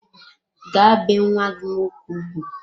Gaa bee nwa gị nwoke ugwu!